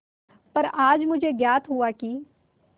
पर आज मुझे ज्ञात हुआ कि